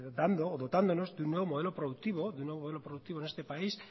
dotándonos de un nuevo modelo productivo en este país